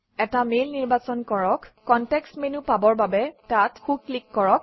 এটা মেইল নিৰ্বাচন কৰক কনটেক্সট মেনু পাবৰ বাবে তাত সোঁ ক্লিক কৰক